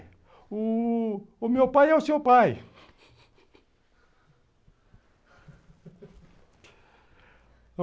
O meu pai é o seu pai